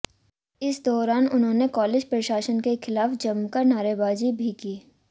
इस दौरान उन्होंने कालेज प्रशासन के खिलाफ जमकर नारेबाजी भी की